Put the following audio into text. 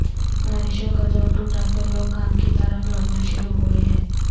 بارشوں کا زور ٹوٹا تو لوگ کام کی طرف لوٹنا شروع ہوئے ہیں